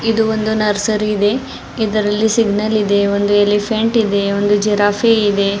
ಇದು ಒಂದು ನರ್ಸರಿ ಇದೆ ಇದರಲ್ಲಿ ಸಿಗ್ನಲ್ ಇದೆ ಒಂದು ಎಲಿಫೆಂಟ್ ಇದೆ ಒಂದು ಜಿರಾಫೆ ಇದೆ.